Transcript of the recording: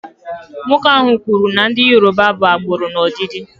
Nwoke ahụ kwuru na ndị Yoruba bụ agbụrụ n'ọdịdị.